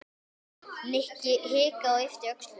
Nikki hikaði og yppti öxlum.